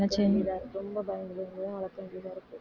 ரொம்ப பயந்து பயந்துதான் வளர்க்க வேண்டியதா இருக்கு